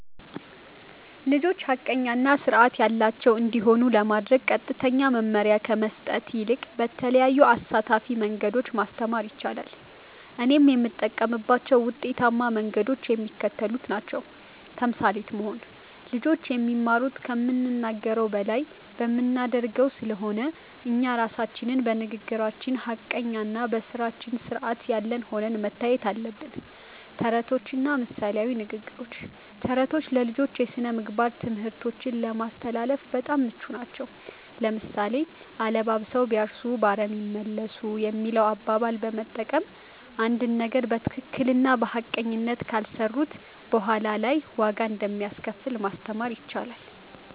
ልጆች ሐቀኛ እና ሥርዓት ያላቸው እንዲሆኑ ለማድረግ ቀጥተኛ መመሪያ ከመስጠት ይልቅ በተለያዩ አሳታፊ መንገዶች ማስተማር ይቻላል። እኔም የምጠቀምባቸው ውጤታማ መንገዶች የሚከተሉት ናቸው። ተምሳሌት መሆን (Role Modeling)፦ ልጆች የሚማሩት ከምንናገረው በላይ በምናደርገው ስለሆነ፣ እኛ ራሳችን በንግግራችን ሐቀኛና በሥራችን ሥርዓት ያለን ሆነን መታየት አለብን። ተረቶችና ምሳሌያዊ ንግግሮች፦ ተረቶች ለልጆች የሥነ-ምግባር ትምህርቶችን ለማስተላለፍ በጣም ምቹ ናቸው። ለምሳሌ፣ "አለባብሰው ቢያርሱ በአረም ይመለሱ" የሚለውን አባባል በመጠቀም፣ አንድን ነገር በትክክልና በሐቀኝነት ካልሰሩት በኋላ ላይ ዋጋ እንደሚያስከፍል ማስተማር ይቻላል።